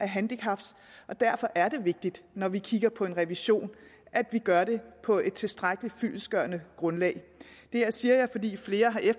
handicap og derfor er det vigtigt når vi kigger på en revision at vi gør det på et tilstrækkeligt fyldestgørende grundlag det her siger jeg fordi flere her